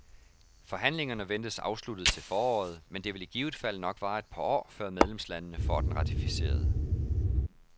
Forhandlingerne ventes afsluttet til foråret, men det vil i givet fald nok vare et par år, før medlemslandene får den ratificeret.